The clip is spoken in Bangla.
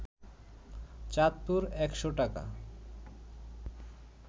চাঁদপুর ১শ টাকা